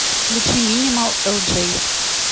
включи минимал элджей